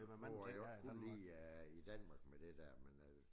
Hvor at jeg godt kunne lide at i Danmark med det der men øh